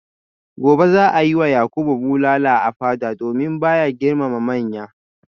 gobe za a yi wa yakubu bulala a fada domin ba ya girmama manya